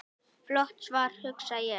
Flott svar, hugsa ég.